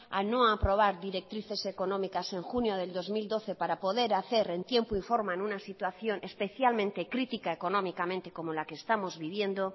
a no aprobar directrices económicas en junio del dos mil doce para poder hacer en tiempo y forma en una situación especialmente critica económicamente como en la estamos viviendo